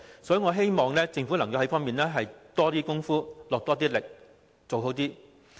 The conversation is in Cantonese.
所以，我希望政府能在這方面多下工夫，做好一點。